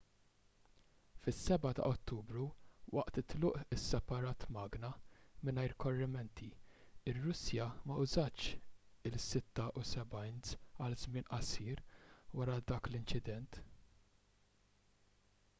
fis-7 ta' ottubru waqt it-tluq isseparat magna mingħajr korrimenti ir-russja ma użatx il-76s għal żmien qasir wara dak l-inċident